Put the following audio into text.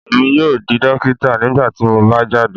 Emi yoo di dokita nigbati mo ba jade